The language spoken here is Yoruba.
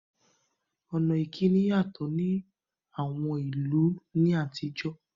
Ọ̀rọ̀ ìkíni yàtọ̀ ní àwọn ìlú ní àtijọ́